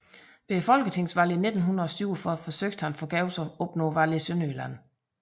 Ved folketingsvalget i 1947 forsøgte han forgæves at opnå valg i Sønderjylland